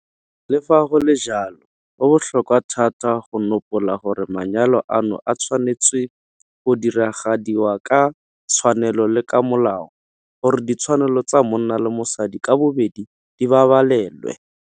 Le fa go le jalo, go botlhokwa thata go nopola gore manyalo ano a tshwanetswe go diragadiwa ka tshwanelo le ka molao, gore ditshwanelo tsa monna le mosadi ka bobedi di babalelwe.